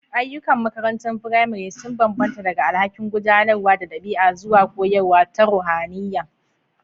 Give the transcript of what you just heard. Ayyukan makarantar firamare sun bambanta daga alhakin gudanarwa da ɗabi'a zuwa koyarwa ta ruhaniya.